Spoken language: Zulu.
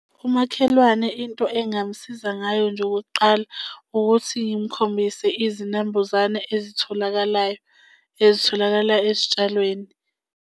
Umakhelwane into engamusiza ngayo nje okokuqala ukuthi ngimukhombise izinambuzane ezitholakalayo, ezitholakala ezitshalweni.